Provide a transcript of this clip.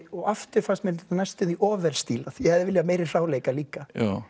og aftur fannst mér næstum þvi of vel stílað ég hefði viljað meiri hráleika líka